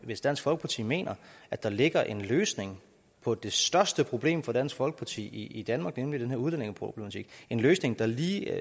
hvis dansk folkeparti mener at der ligger en løsning på det største problem for dansk folkeparti i danmark nemlig den her udlændingeproblematik en løsning der lige